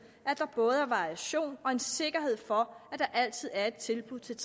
at der både er variation og en sikkerhed for at der altid er et tilbud til